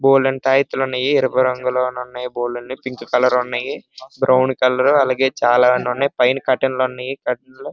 బోలెడు అని థాయథలు ఉన్నాయి ఎరుపు రంగు నలుపు రంగుపసుపు రంగులో పైనా కాటన్ల్ ఉన్నాయి.